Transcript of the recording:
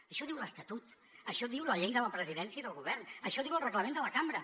això diu l’estatut això diu la llei de la presidència i del govern això diu el reglament de la cambra